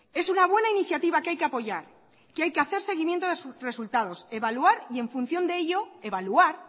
es una buena iniciativa que hay que apoyar que hay que hacer seguimiento de resultados evaluar y en función de ello evaluar